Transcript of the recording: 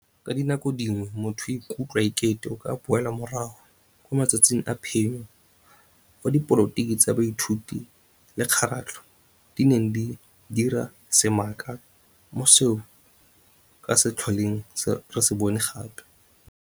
Ka dinako dingwe motho o ikutlwa e kete o ka boela morago 'ko matsatsing a phenyo' fa dipolotiki tsa baithuti le kgaratlho, di neng di dira semaka mo seo se ka se tlholeng re se bone gape.